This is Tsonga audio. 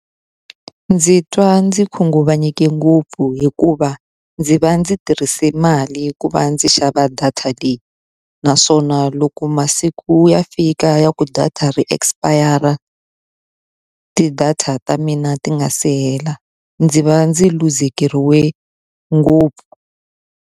Ndzi twa ndzi khunguvanyekile ngopfu hikuva ndzi va ndzi tirhise mali ku va ndzi xava data leyi. Naswona loko masiku ku ya fika ya ku data ri expire-ra ti data ta mina ti nga si hela, ndzi va ndzi luzekeriwile ngopfu.